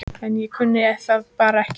En ég kunni það bara ekki.